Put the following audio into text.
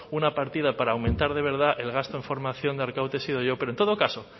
una partida para aumentar de verdad el gasto en formación de arkaute he sido yo pero en todo caso